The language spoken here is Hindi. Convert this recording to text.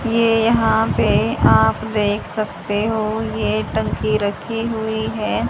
ये यहाँ पे आप देख सकते हो एक टंकी रखी हुई है।